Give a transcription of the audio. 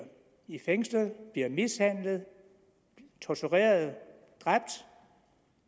fængslet mishandlet tortureret eller dræbt